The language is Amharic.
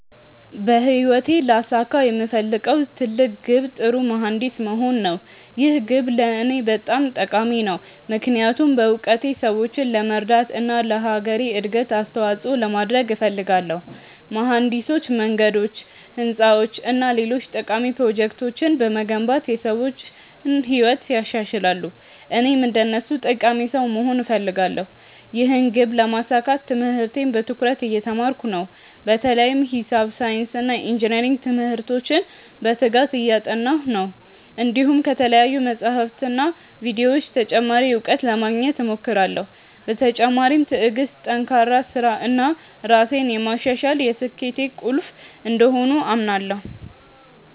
በህይወቴ ላሳካው የምፈልገው ትልቅ ግብ ጥሩ መሀንዲስ መሆን ነው። ይህ ግብ ለእኔ በጣም ጠቃሚ ነው፣ ምክንያቱም በእውቀቴ ሰዎችን ለመርዳት እና ለአገሬ እድገት አስተዋፅኦ ለማድረግ እፈልጋለሁ። መሀንዲሶች መንገዶች፣ ህንፃዎች እና ሌሎች ጠቃሚ ፕሮጀክቶችን በመገንባት የሰዎችን ህይወት ያሻሽላሉ፣ እኔም እንደነሱ ጠቃሚ ሰው መሆን እፈልጋለሁ። ይህን ግብ ለማሳካት ትምህርቴን በትኩረት እየተማርኩ ነው፣ በተለይም ሂሳብ፣ ሳይንስ እና ኢንጅነሪንግ ትምህርቶችን በትጋት እያጠናሁ ነው። እንዲሁም ከተለያዩ መጻሕፍትና ቪዲዮዎች ተጨማሪ እውቀት ለማግኘት እሞክራለሁ። በተጨማሪም ትዕግሥት፣ ጠንካራ ሥራ እና ራሴን ማሻሻል የስኬቴ ቁልፍ እንደሆኑ አምናለሁ።